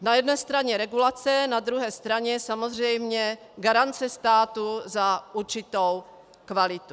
Na jedné straně regulace, na druhé straně samozřejmě garance státu za určitou kvalitu.